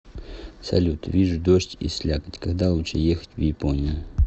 салют вижу дождь и слякоть когда лучше ехать в японию